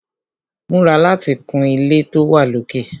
Múra láti kun ilé tó wà lókè!